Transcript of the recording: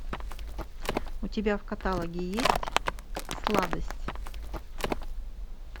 у тебя в каталоге есть сладость